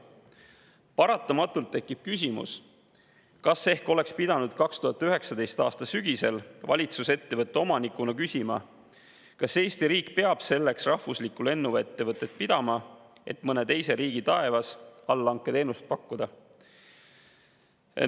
Paratamatult tekib küsimus, kas ehk oleks pidanud 2019. aasta sügisel valitsus ettevõtte omanikuna küsima, kas Eesti riik peab selleks rahvuslikku lennuettevõtet pidama, et mõne teise riigi taevas allhanketeenust pakkuda.